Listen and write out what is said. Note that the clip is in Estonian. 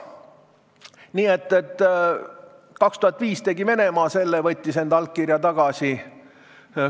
Nii et 2005 tegi Venemaa ära selle, et võttis enda allkirja tagasi.